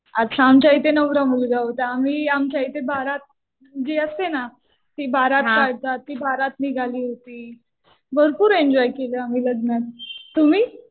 अच्छा. आमच्या इथे नवरा मुलगा होता. आम्ही आमच्या इथं बारात जी असते ना ती बारात काढतात. ती बारात निघाली होती. भरपूर एन्जॉय केलं आम्ही लग्नात. तुम्ही?